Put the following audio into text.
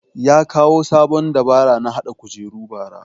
Ya koya sabon dabara na haɗa kujeru bara